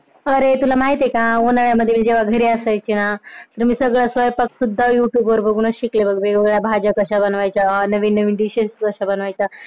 अरे तुला माहित आहे का? उन्हाळ्यामध्ये जेव्हा मी घरी असायचे ना तर मी सगळं तस Youtube वर बघून शिकले बघ वेगवेगळ्या भाज्या कश्या बनवायच्या नवीन नवीन dishes कश्या बनवायच्या?